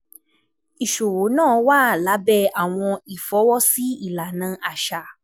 Iṣowo naa wa labẹ awọn ifọwọsi ilana aṣa.